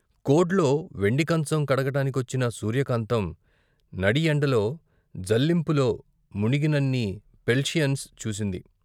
కొడ్లో వెండి కంచం కడగడానికొచ్చిన సూర్యకాంతం నడిఎండలో జల్లింపులో మునిగినన్ని పెల్షియన్స్ చూసింది.